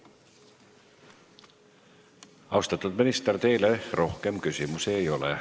Austatud minister, teile rohkem küsimusi ei ole.